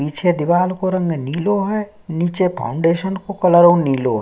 पीछे दीवाल को रंग निलो है नीचे फाउंडेशन को कलरो निलो है।